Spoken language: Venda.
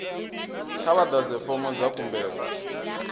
kha vha ḓadze fomo dza khumbelo